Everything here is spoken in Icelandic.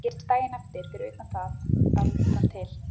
Það sem gerist daginn eftir, fyrir utan það að rútan til